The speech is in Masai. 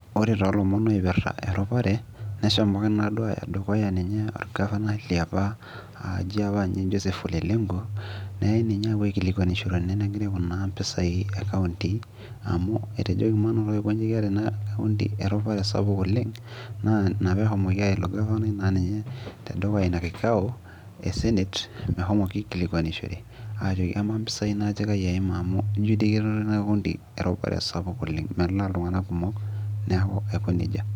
ore too lomon oirpita erupare nehomoki naaduoninye aaya dukuya ninye oo governor oji joseph ole lenku , neyai ninye apuo akilikuanishore ene gira aikonaa impisai e county amu etejoki maing'urai keeta ina county erupare sapuk oleng', naa ina pee ehomoki aya ilo governor tedukuya inakikao esenet meshomoki aikilikuanishore , aajoki kamaa impisai kaji eima amu ijo dii kenoto county erupare sapuk oleng' melaa iltung'anak kumok.